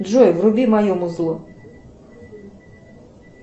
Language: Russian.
джой вруби мое музло